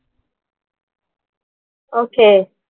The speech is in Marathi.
Okay